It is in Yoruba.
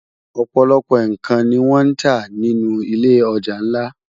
Òpòlòpò n kán ni wòn tá ninú ilé òjá nlá